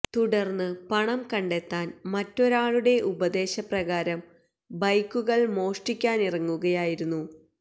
തുടര്ന്ന് പണം കണ്ടെത്താന് മറ്റൊരാളുടെ ഉപദേശ പ്രകാരം ബൈക്കുകള് മോഷ്ടിക്കാനിറങ്ങുകയായിരുന്നു